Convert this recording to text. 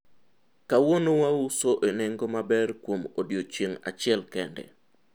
kawuono wauso e nengo maber kuom odiochieng' achiel kende